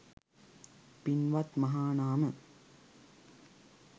පින්වත් මහනාම,